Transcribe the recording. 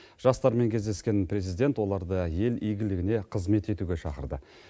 жастармен кездескен президент оларды ел игілігіне қызмет етуге шақырды